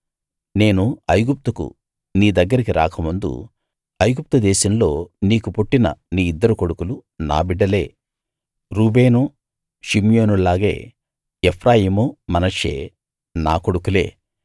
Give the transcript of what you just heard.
నేను ఐగుప్తుకు నీ దగ్గరికి రాకముందు ఐగుప్తు దేశంలో నీకు పుట్టిన నీ ఇద్దరు కొడుకులు నా బిడ్డలే రూబేను షిమ్యోనుల్లాగే ఎఫ్రాయిము మనష్షే నా కొడుకులే